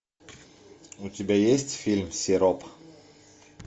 у тебя есть фильм сироп